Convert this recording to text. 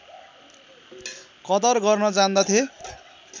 कदर गर्न जान्दथे